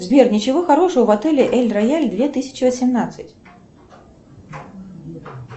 сбер ничего хорошего в отеле эль рояль две тысячи восемнадцать